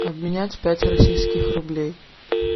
обменять пять российских рублей